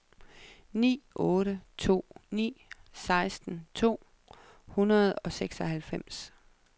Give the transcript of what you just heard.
ni otte to ni seksten to hundrede og seksoghalvfems